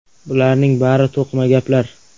Bularning bari to‘qima gaplar.